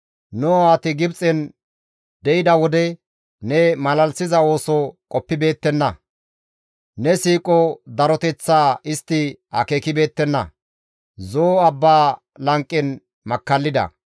Nu aawati Gibxen de7iza wode, ne malalisiza ooso qoppibeettenna. Ne siiqo daroteththaa istti akeekibeettenna; Zo7o abba lanqen makkallida.